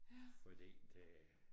Fordi det